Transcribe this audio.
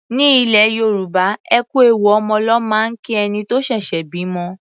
Ní ilẹ̀ Yorùbá, ẹ kú ewu ọmọ ló máa ń kí ẹni tó ṣẹ̀ṣẹ̀ bímọ.